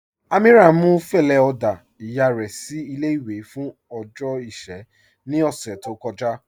Amíírà mú fẹlẹ oda iyà rẹ sí ilé-ìwé fún ọjọ́ iṣẹ̀ ní ọṣẹ̀ tó kọ̀jà.